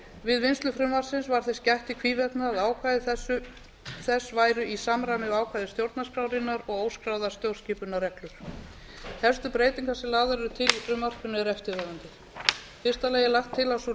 við vinnslu frumvarpsins var þess gætt í hvívetna að ákvæði þess væru í samræmi við ákvæði stjórnarskrárinnar og óskráðar stjórnskipunarreglur helstu breytingar sem lagðar eru til í frumvarpinu eru eftirfarandi í fyrsta lagi er lagt til að sú